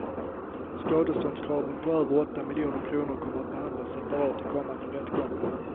Skadeståndskraven på över åtta miljoner kronor kommer att behandlas separat i kommande rättgångar.